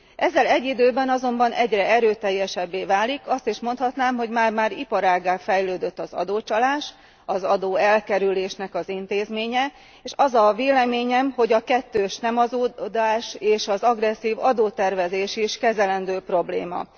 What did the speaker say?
Ezzel egy időben azonban egyre erőteljesebbé válik, azt is mondhatnám, hogy már már iparággá fejlődött az adócsalás, az adóelkerülésnek az intézménye, és az a véleményem, hogy a kettős nem adózás és az agresszív adótervezés is kezelendő probléma.